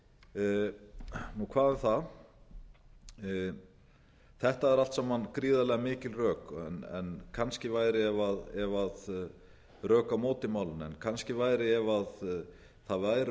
í kjölfarið hvað um það þetta eru allt saman gríðarlega mikil rök á móti málinu en kannski væri ef það væru